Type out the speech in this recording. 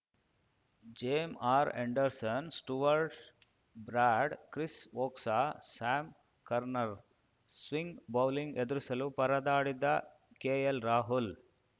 ಜೇಮ್ R Andersons Stuart broad Chris Woakes Sam ಕರ್ನರ್ swing bowling ಎದುರಿಸಲು ಪರದಾಡಿದ್ದ ಕೆಎಲ್‌ರಾಹುಲ್‌